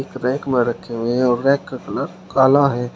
Rack में रखे हुए हैं रैक का कलर काला है।